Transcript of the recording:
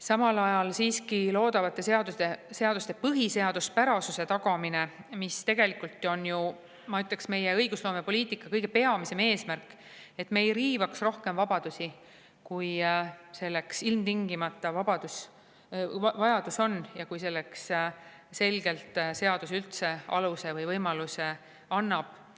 Samal ajal on siiski loodavate seaduste põhiseaduspärasuse tagamine, mis tegelikult on ju, ma ütleksin, meie õigusloomepoliitika kõige peamisem eesmärk, et me ei riivaks rohkem vabadusi, kui selleks ilmtingimata vajadus on ja kui selleks seadus üldse aluse või võimaluse annab.